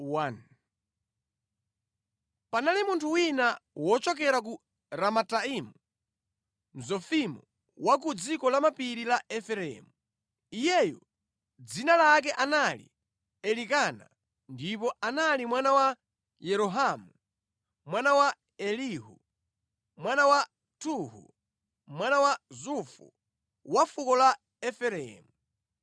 Panali munthu wina wochokera ku Ramataimu, Mzofimu wa ku dziko la mapiri la Efereimu. Iyeyu dzina lake anali Elikana ndipo anali mwana wa Yerohamu, mwana wa Elihu, mwana wa Tohu, mwana wa Zufu wa fuko la Efereimu.